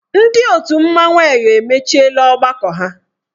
Ndị otu mmanwụ Eyọ emechiela ọgbakọ ha.